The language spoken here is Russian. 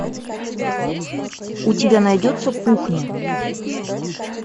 у тебя найдется кухня